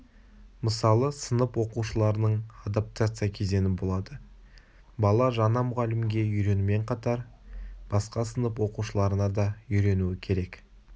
мысалы сынып оқушыларының адаптация кезеңі болады бала жаңа мұғалімге үйренумен қатар басқа сынып оқушыларына да үйренуі керек